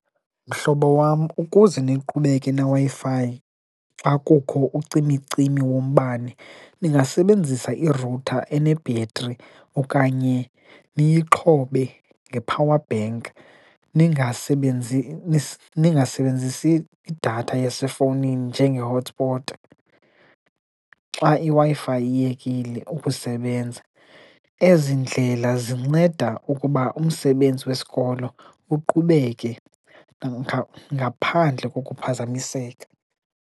Mhlobo wam, ukuze niqhubeke neWi-Fi xa kukho ucimicimi wombane ningasebenzisa irutha enebhetri okanye niyixhobe nge-power bank, ningasebenzisi idatha esefowunini njenge-hotspotaXa iWi-Fi iyekile ukusebenza. Ezi ndlela zinceda ukuba umsebenzi wesikolo uqhubeke ngaphandle kokuphazamiseka.